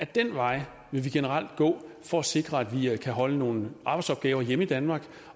den vej vil vi generelt gå for at sikre at vi kan holde nogle arbejdsopgaver hjemme i danmark